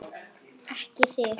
Ekki þig!